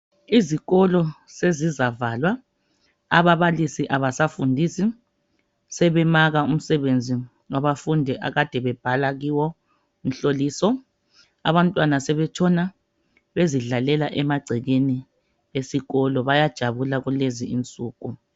Izikolo sezizavalwa, ababalisi abasafundisi, sebemaka umsebenzi wabafundi akade bebhala kiwo umhloliso, abatwana sebetshona bezidlalela emagcekeni esikolo, bayajabula kulezi insuku.